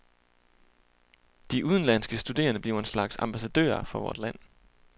De udenlandske studerende bliver en slags ambassadører for vores land.